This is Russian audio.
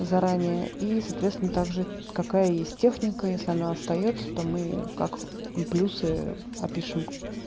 заранее и соответственно также какая есть техника если она остаётся то мы как плюсы опишем